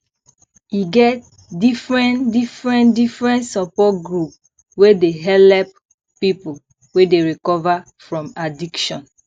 e get differen differen differen support group wey dey helep pipu wey dey recover from addiction